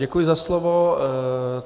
Děkuji za slovo.